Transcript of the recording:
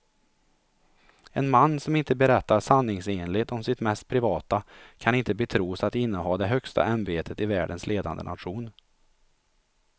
En man som inte berättar sanningsenligt om sitt mest privata kan inte betros att inneha det högsta ämbetet i världens ledande nation.